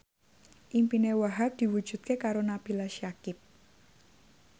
impine Wahhab diwujudke karo Nabila Syakieb